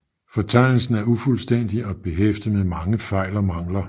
Fortegnelsen er ufuldstændig og behæftet med mange fejl og mangler